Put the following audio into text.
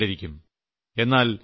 യിൽ പരസ്യം കണ്ടിരിക്കും